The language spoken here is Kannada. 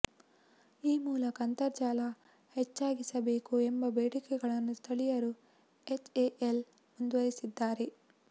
ಈ ಮೂಲಕ ಅಂತರ್ಜಲ ಹೆಚ್ಚಾಗಿಸಬೇಕು ಎಂಬ ಬೇಡಿಕೆಗಳನ್ನು ಸ್ಥಳೀಯರು ಎಚ್ಎಎಲ್ ಮುಂದಿರಿಸಿದ್ದಾರೆ